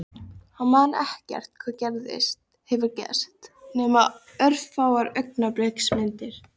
Hann man ekkert hvað hefur gerst nema örfáar augnabliksmyndir.